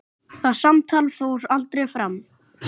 Það samtal fór aldrei fram.